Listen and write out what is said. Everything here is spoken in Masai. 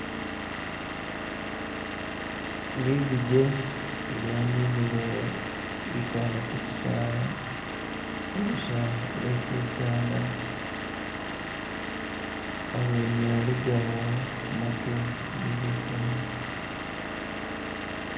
Ligujje lyaninile likale kushisala kulusha lwe shisala awene aligawo gamatu ge bisala